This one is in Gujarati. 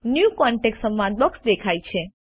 ન્યૂ કોન્ટેક્ટ સંવાદ બોક્સ દેખાય છે